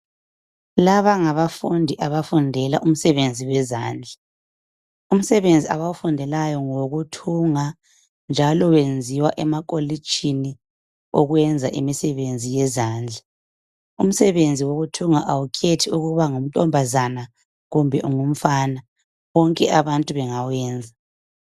Laba ngabafundi abafundela umsebenzi wezandla umsebenzi abawufundelayo ngowokuthunga njalo wenziwa emakolitshini okuyenza umsebenzi wezandla umsebenzi wokuthunga awukhethi ukuba uyinkazana kumbe ungumfana bonke abantu bengawuyenza.